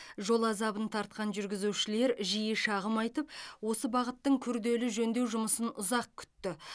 жол азабын тартқан жүргізушілер жиі шағым айтып осы бағыттың күрделу жөндеу жұмысын ұзақ күтті